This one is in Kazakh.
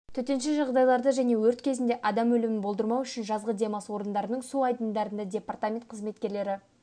төтенше жағдайларды және өрт кезінде адам өлімін болдырмау үшін жазғы демалыс орындарындағы су айдындарында департамент қызметкерлері